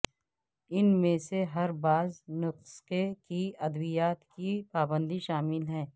ان میں سے ہر بعض نسخے کے ادویات کی پابندی شامل ہے